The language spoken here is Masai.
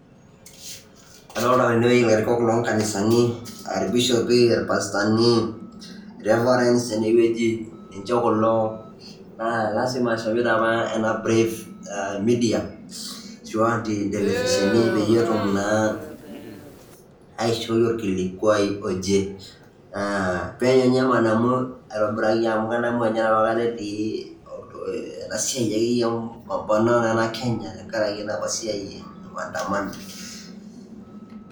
Adolta tene wueji ilarikok lo nkanisani a irbishopi, irpastani, Revarends tene wueji ninje kulo. Naa lazima eshomoita apa ena brief a media ashu a intelevisheni peyie etum naa aishoi orkilikuai oje. Penyo nye madamu aitobiraki amu kadamu apa etii ena siai akeyie e mapambano e Kenya tenkaraki enapa siai e maandamano